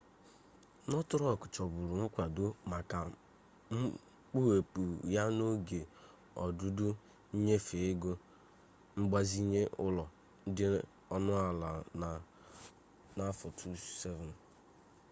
northern rock chọburu nkwado maka mkpughepụ ya n'oge ọdụdọ nyefee ego mgbazinye ụlọ dị ọnụ ala na 2007